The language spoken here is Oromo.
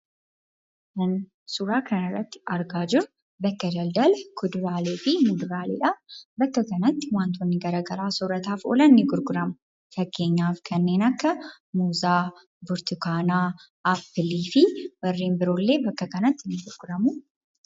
Wanti Suuraa kanarratti argaa jirru bakka daldalaa kuduraaleefi muduraalee dha. Bakka kanatti wantoonni garaagaraa soorataaf oolan ni gurguramu. Fakkeenyaaf kanneen akka muuzaa burtukaanaa, appilii fi warreen biroo illee bakka kanatti ni gurguramu.